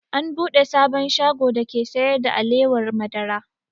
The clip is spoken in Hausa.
An buɗe sabon shago dake sayar da alewar madara